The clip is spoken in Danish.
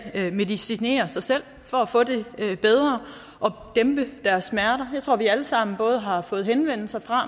medicinerer sig selv for at få det bedre og dæmpe deres smerter jeg tror at vi alle sammen både har fået henvendelser fra